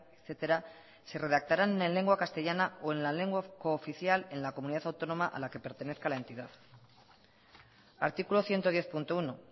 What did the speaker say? etcétera se redactarán en lengua castellana o en la lengua cooficial en la comunidad autónoma a la que pertenezca la entidad artículo ciento diez punto uno